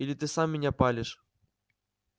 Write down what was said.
или ты сам меня палишь